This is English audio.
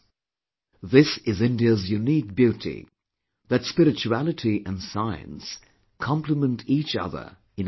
This is India's unique beauty that spirituality and science complement each other in our culture